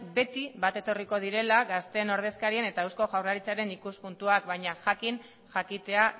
beti bat etorriko direla gazteen ordezkarien eta eusko jaurlaritzaren ikuspuntua baina jakin jakitea